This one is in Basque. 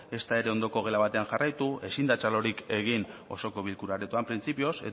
ezta ere ondoko gela batean jarraitu ezin da txalorik egin osoko bilkura aretoan printzipioz